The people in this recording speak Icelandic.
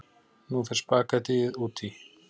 Nú fer spaghettíið út í.